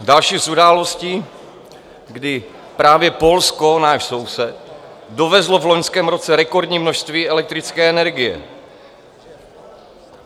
Další z událostí, kdy právě Polsko, náš soused, dovezlo v loňském roce rekordní množství elektrické energie.